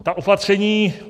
Ta opatření.